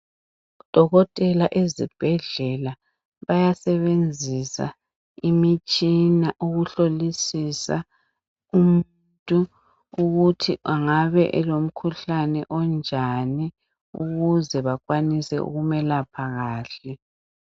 Odokotela ezibhedlela bayasebenzisa imitshina ukuhlolisisa umuntu ukuthi angabe elokhuhlane onjani ukuze bakwanise ukumelaphe kahle.